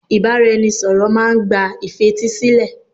Ìbáraẹnisọ̀rọ̀ máà ń gba ìfetísílẹ̀.